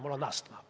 Mul on astma.